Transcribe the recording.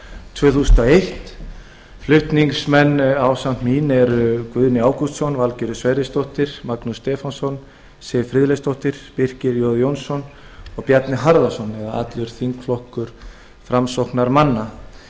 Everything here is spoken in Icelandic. tvö þúsund og eitt flutningsmenn ásamt mér eru guðni ágústsson valgerður sverrisdóttir magnús stefánsson siv friðleifsdóttir birkir j jónsson og bjarni harðarson eða allur þingflokkur framsóknarmanna